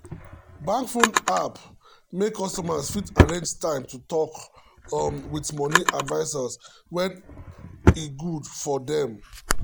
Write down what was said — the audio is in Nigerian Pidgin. bank phone app make customers fit arrange time to talk um with money advisers when e good um for dem. um